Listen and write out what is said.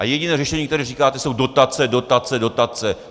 A jediné řešení, které říkáte, jsou dotace, dotace, dotace.